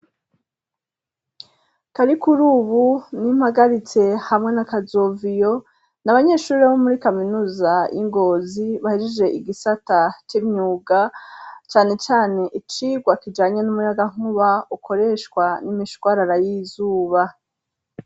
Karikurubu, n'Impagaritse hamwe na Kazoviyo, n'abanyeshuri bo muri kaminuza y'ingozi ,bahejeje igisata c'imyuga cane cane icigwa kijanye n'umuyaga nkuba ukoreshwa n'imishwarara y'izuba.